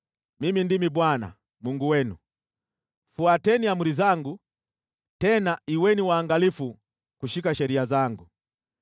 Mimi ndimi Bwana , Mungu wenu, fuateni amri zangu tena kuweni waangalifu kushika sheria zangu.